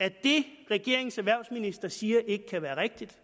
at det regeringens erhvervsminister siger ikke kan være rigtigt